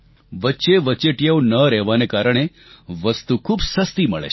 વચ્ચે વચેટીયાઓ ન રહેવાને કારણે વસ્તુ ખૂબ સસ્તી મળે છે